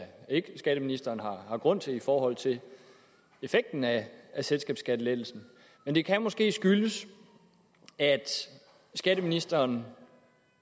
ikke at skatteministeren har grund til i forhold til effekten af selskabsskattelettelsen men det kan måske skyldes at skatteministeren